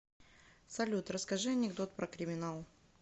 салют расскажи анекдот про криминал